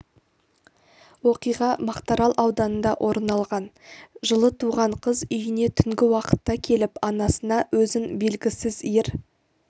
оқиға мақтарал ауданында орын алған жылы туған қыз үйіне түнгі уақытта келіп анасына өзін белгісіз ер